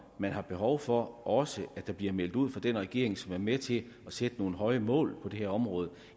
man har behov for også bliver meldt ud af den regering som er med til at sætte nogle høje mål for det her område